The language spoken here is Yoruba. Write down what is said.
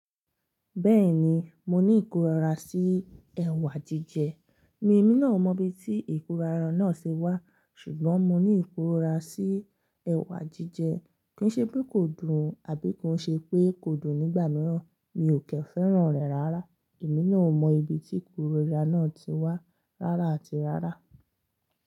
Bẹ́ẹ̀ni, mo ní ìkórora sí ẹ̀wà jíjẹ. Mi, èmi náà ò mọ ibi tí ìkórara náà ṣe wá, ṣùgbọ́n mo ní ìkóra sí ẹ̀wà jíjẹ. Kí n ṣe pé kò dùn o, àbí kò ń ṣe pé kò dùn nígbà mìíràn, mi ò kin fẹ́ràn rẹ̀ rárá. Èmi náà ò mọ ibi tí ìkórora náà ti wá rárá àti rárá.